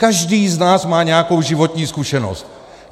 Každý z nás má nějakou životní zkušenost.